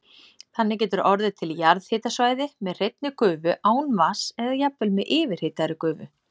Þannig getur orðið til jarðhitasvæði með hreinni gufu án vatns eða jafnvel með yfirhitaðri gufu.